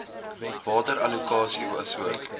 water allokasie asook